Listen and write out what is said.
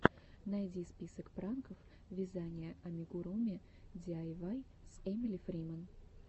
найди список пранков вязания амигуруми диайвай с эмили фриман